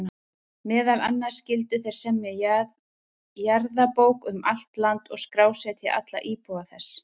Meðal annars skyldu þeir semja jarðabók um allt land og skrásetja alla íbúa þess.